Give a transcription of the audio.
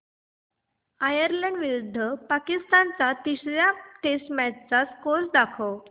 Ireland विरुद्ध पाकिस्तान च्या तिसर्या टेस्ट मॅच चा स्कोअर दाखवा